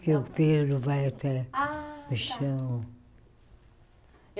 Que o pelo vai até Ah tá O chão.